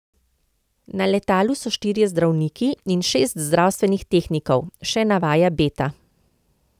Na letalu so štirje zdravniki in šest zdravstvenih tehnikov, še navaja Beta.